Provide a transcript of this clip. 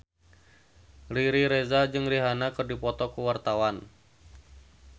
Riri Reza jeung Rihanna keur dipoto ku wartawan